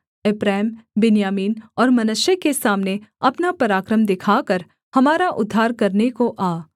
एप्रैम बिन्यामीन और मनश्शे के सामने अपना पराक्रम दिखाकर हमारा उद्धार करने को आ